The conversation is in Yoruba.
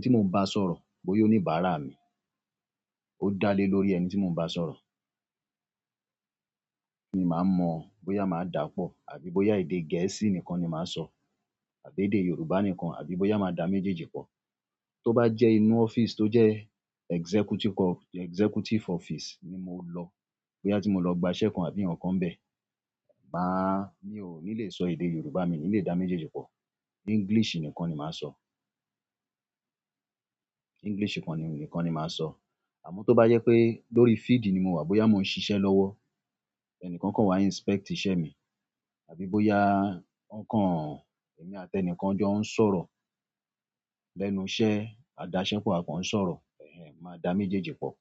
tí mo ń bá sọ̀rọ̀ bóyá oníbárà mi ó dá lé lórí ẹni tí mo ń bá sọ̀rọ̀. Ni màá mọ̀ bóyá màá dà pọ̀ àbí bóyá èdè Gẹ̀ẹ́sì nìkan ni màá sọ àbí èdè Yorùbá nìkan àbí bóyá màá dà méjèèjì pọ̀. Tó bá jẹ́ inú office tó jẹ́ executive co-- executive office ni mo lọ, bóyá tí mo lọ gba iṣẹ́ kan àbí ǹkan bẹ́ẹ̀, màá, mi ò ní lè sọ èdè Yorùbá, mi ò ní lè dá méjèèjì pọ̀. English nìkan ni màá sọ. English nìkan ni, nìkan ni màá sọ. Àmọ́ tó bá jẹ pé lórí field ni mo wà, bóyá mo ń ṣiṣẹ́ lọ́wọ́, ẹni kankan wá inspect iṣẹ́ mi, àbí bóyá ǹ kan èmi àti ẹnìkan jọ ń sọ̀rọ̀ lẹ́nu iṣẹ́, a dáṣẹ́ pọ̀, a kàn ń sọ̀rọ̀, bẹ́ẹ̀ ni, màá dà méjèèjì pọ̀.